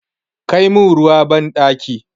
Kai min ruwa banɗaki!